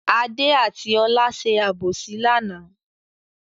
Adé àti Ọlá ṣe àbòsí lánàá.